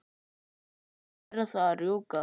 Jæja, verð að rjúka.